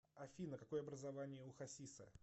афина какое образование у хасиса